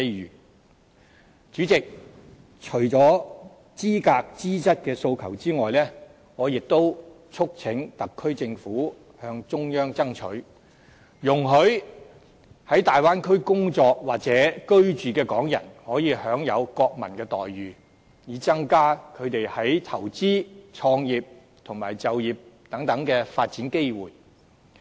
代理主席，除了資格、資質的訴求外，我亦促請特區政府向中央爭取，容許在大灣區工作或居住的港人可以享有國民的待遇，以增加他們在投資、創業及就業等發展機會。